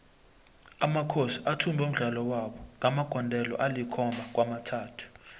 amakhosi athumbe umdlalo wabo ngamagondelo alikhomaba kwamathathu